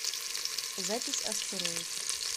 запись астероид